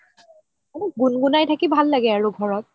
অলপ গুন গুনাই থাকি ভাল লাগে আৰু ঘৰত